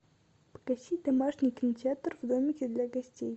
погасить домашний кинотеатр в домике для гостей